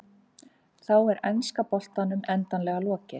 Þá er enska boltanum endanlega lokið.